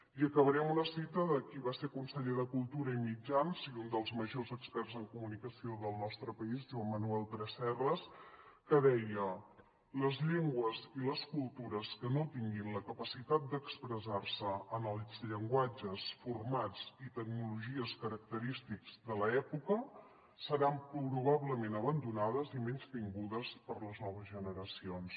i acabaré amb una cita de qui va ser conseller de cultura i mitjans de comunica·ció i un dels majors experts en comunicació del nostre país joan manuel tresserras que deia les llengües i les cultures que no tinguin la capacitat d’expressar·se en els llenguatges formats i tecnologies característics de l’època seran probablement abandonades i menystingudes per les noves generacions